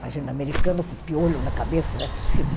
Imagina, americano com piolho na cabeça, não é possível.